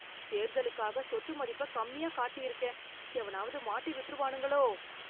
தேர்தலுக்காக சொத்து மதிப்பை கம்மியா காட்டியிருக்கேன். எவனாவது மாட்டி விட்ருவானுங்களோ?